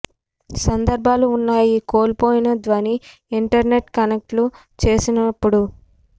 సందర్భాలు ఉన్నాయి కోల్పోయిన ధ్వని ఇంటర్నెట్ కనెక్ట్ చేసినప్పుడు